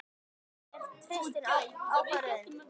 Jóhann: En treystirðu ákvörðuninni?